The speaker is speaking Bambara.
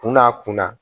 Kunna a kunna